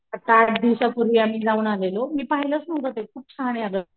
आत्ता आठ दिवसा पूर्वी आम्ही जाऊन आलेलो मी पहिलाच नहुत ते खूप छाने अग.